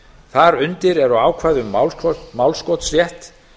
þar undir eru ákvæði um málskotsrétt